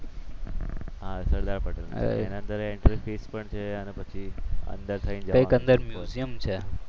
હા સરદાર પટેલ એના અંદર એન્ટ્રી ફી છે અને પછી અંદર થઈને જવાનું